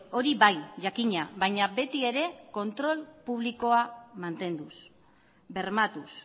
hori bai jakina baina beti ere kontrol publikoa mantenduz bermatuz